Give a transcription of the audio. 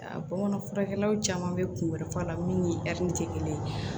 A bamanan furakɛlaw caman bɛ kun wɛrɛ fɔ a la min ni tɛ kelen ye